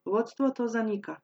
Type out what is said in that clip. Vodstvo to zanika.